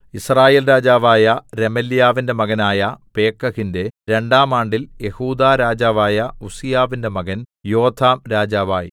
യിസ്രായേൽ രാജാവായ രെമല്യാവിന്റെ മകനായ പേക്കഹിന്റെ രണ്ടാം ആണ്ടിൽ യെഹൂദാ രാജാവായ ഉസ്സീയാവിന്റെ മകൻ യോഥാം രാജാവായി